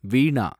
வீணா